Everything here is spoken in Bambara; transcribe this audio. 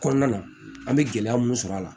Kɔnɔna na an bɛ gɛlɛya mun sɔrɔ a la